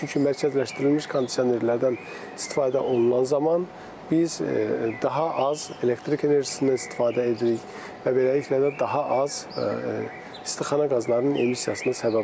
Çünki mərkəzləşdirilmiş kondisionerlərdən istifadə olunan zaman biz daha az elektrik enerjisindən istifadə edirik və beləliklə də daha az istixana qazlarının emissiyasına səbəb olur.